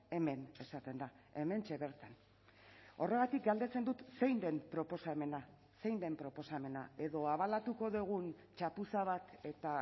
hemen esaten da hementxe bertan horregatik galdetzen dut zein den proposamena zein den proposamena edo abalatuko dugun txapuza bat eta